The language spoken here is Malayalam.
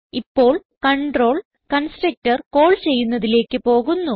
ഇപ്പോൾ കണ്ട്രോൾ കൺസ്ട്രക്ടർ കാൾ ചെയ്യുന്നതിലേക്ക് പോകുന്നു